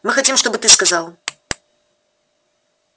мы хотим чтобы ты сказал